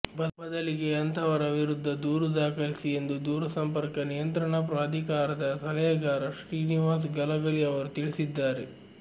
ಬದಲಿಗೆ ಅಂತಹವರ ವಿರುದ್ಧ ದೂರು ದಾಖಲಿಸಿ ಎಂದು ದೂರಸಂಪರ್ಕ ನಿಯಂತ್ರಣಾ ಪ್ರಾಧಿಕಾರದ ಸಲಹೆಗಾರ ಶ್ರೀನಿವಾಸ ಗಲಗಲಿ ಅವರು ತಿಳಿಸಿದ್ದಾರೆ